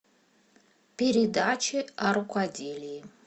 передачи о рукоделии